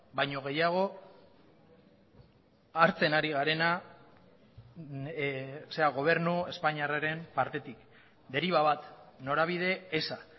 baino gehiago hartzen ari garena gobernu espainiarraren partetik deriba bat norabide eza